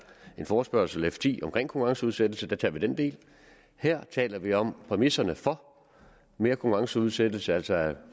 en forespørgsel f ti om konkurrenceudsættelse der tager vi den del her taler vi om præmisserne for mere konkurrenceudsættelse altså at